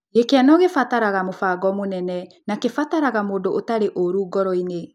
Gĩkeno gĩtibataraga mũbango mũnene, no kĩbataraga mũndũ ũtarĩ ũũru ngoro-inĩ.